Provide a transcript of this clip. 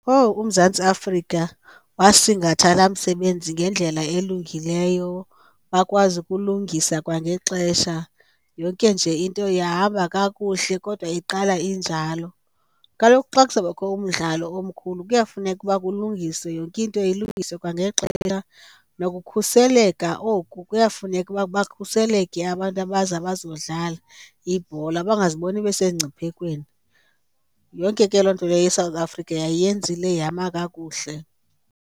Owu uMzantsi Afrika wasingatha laa msebenzi ngendlela elungileyo, bakwazi ukulungisa kwangexesha yonke nje into yahamba kakuhle kodwa iqala injalo. Kaloku xa kuzabakho umdlalo omkhulu kuyafuneka uba kulungiswe, yonke into ilungiswe kwangexesha nokukhuseleka oku kuyafuneka uba bakhuselekile abantu abaza bazodlala ibhola bangaziboni besemngciphekweni. Yonke ke loo nto leyo iSouth Africa yayiyenzile yama kakuhle.